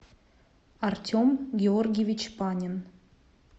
артем георгиевич панин